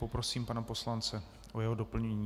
Poprosím pana poslance o jeho doplnění.